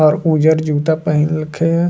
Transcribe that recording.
और उज्जर जूता पहिनल के।